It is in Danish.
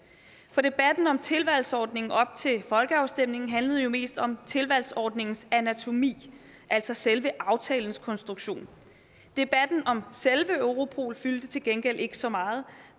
for debatten om tilvalgsordningen op til folkeafstemningen handlede jo mest om tilvalgsordningens anatomi altså selve aftalens konstruktion debatten om selve europol fyldte til gengæld ikke så meget